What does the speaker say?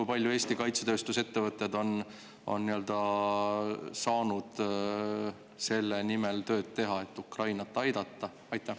Ja kui palju Eesti kaitsetööstuse ettevõtted on saanud selle nimel tööd teha, et Ukrainat aidata?